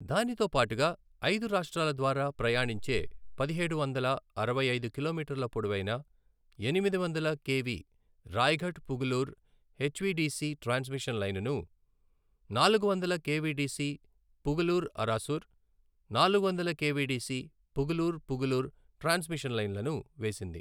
దానితో పాటుగా ఐదు రాష్ట్రాల ద్వారా ప్రయాణించే పదిహేడు వందల అరవై ఐదు కిలోమీటర్ల పొడవైన ఎనిమిది వందల K V Raigarh Pugalur HVDC transmission line ను, నాలుగు వందల K V D C Pugalur Arasur, నాలుగు వందల K V D C Pugalur Pugalur transmission లైన్లను వేసింది.